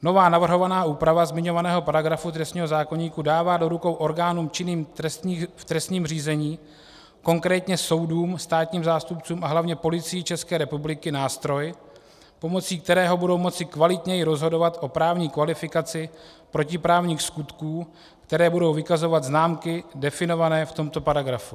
Nová navrhovaná úprava zmiňovaného paragrafu trestního zákoníku dává do rukou orgánům činným v trestním řízení, konkrétně soudům, státním zástupcům a hlavně Policii České republiky, nástroj, pomocí kterého budou moci kvalitněji rozhodovat o právní kvalifikaci protiprávních skutků, které budou vykazovat známky definované v tomto paragrafu.